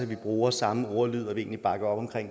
vi bruger samme ordlyd og at vi egentlig bakker op om